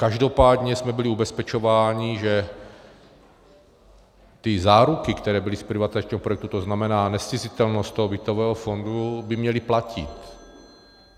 Každopádně jsme byli ubezpečováni, že ty záruky, které byly z privatizačního projektu, to znamená nezcizitelnost toho bytového fondu, by měly platit.